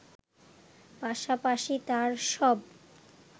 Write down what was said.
পাশাপাশি তার সব